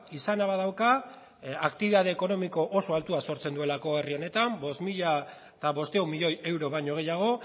izana badauka aktibitate ekonomiko oso altua sortzen duelako herri honetan bost mila bostehun milioi euro baino gehiago